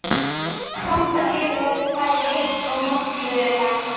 Þangað til verður bæði heitt og mollulegt.